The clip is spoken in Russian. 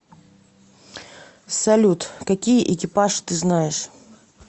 салют какие экипаж ты знаешь